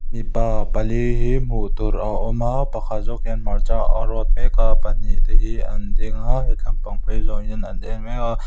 mipa pali hi hmuh tûr a awm a pakhat zawk hian hmarcha a râwt mêk a pahnih te hi an ding a he tlampang phei zâwng hian an en mêk a.